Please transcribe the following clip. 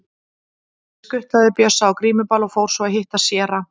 Ég skutlaði Bjössa á grímuball og fór svo að hitta séra